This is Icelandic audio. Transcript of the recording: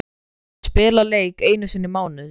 Að spila leik einu sinni í mánuði?